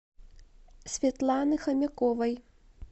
светланы хомяковой